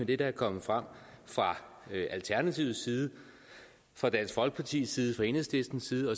det der er kommet frem fra alternativets side fra dansk folkepartis side fra enhedslistens side